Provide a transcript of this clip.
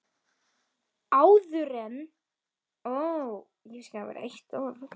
Áðuren lagt var af stað fór ég í stuttbuxur.